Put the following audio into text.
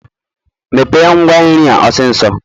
Mepee ngwa nri a osiso.